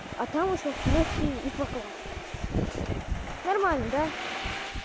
а там уже в плюсе и прокладки нормально да